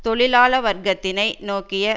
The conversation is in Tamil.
தொழிலாள வர்க்கத்தினை நோக்கிய